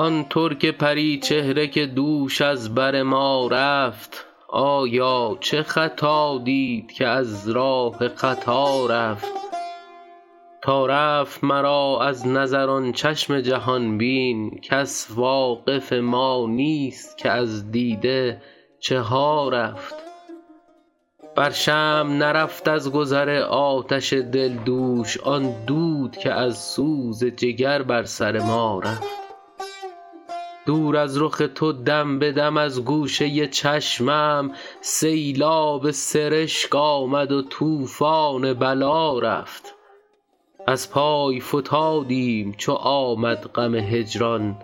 آن ترک پری چهره که دوش از بر ما رفت آیا چه خطا دید که از راه خطا رفت تا رفت مرا از نظر آن چشم جهان بین کس واقف ما نیست که از دیده چه ها رفت بر شمع نرفت از گذر آتش دل دوش آن دود که از سوز جگر بر سر ما رفت دور از رخ تو دم به دم از گوشه چشمم سیلاب سرشک آمد و طوفان بلا رفت از پای فتادیم چو آمد غم هجران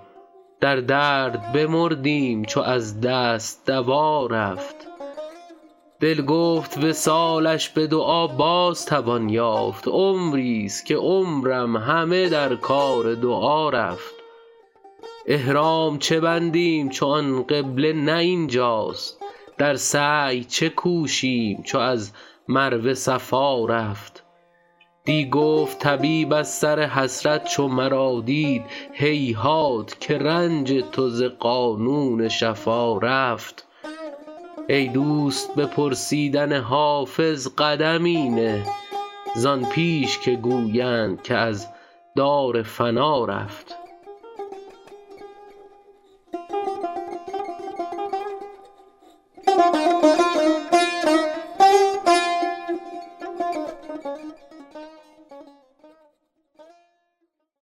در درد بمردیم چو از دست دوا رفت دل گفت وصالش به دعا باز توان یافت عمریست که عمرم همه در کار دعا رفت احرام چه بندیم چو آن قبله نه این جاست در سعی چه کوشیم چو از مروه صفا رفت دی گفت طبیب از سر حسرت چو مرا دید هیهات که رنج تو ز قانون شفا رفت ای دوست به پرسیدن حافظ قدمی نه زان پیش که گویند که از دار فنا رفت